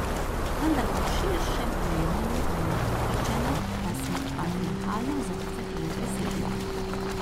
Vendar pa v širšem dojemanju velja prepričanje, da smo patriarhalne vzorce že presegli.